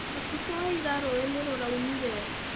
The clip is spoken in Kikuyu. Ũtukũ wa ira rũũĩ nĩ rũraunire.